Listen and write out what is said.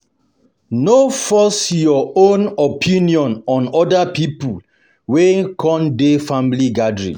No force your own opinion on oda pipo wey come di family gathering